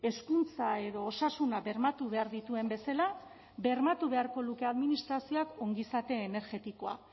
hezkuntza edo osasuna bermatu behar dituen bezala bermatu beharko luke administrazioak ongizate energetikoa